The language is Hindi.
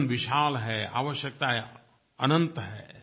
जीवन विशाल है आवश्यकतायें अनंत हैं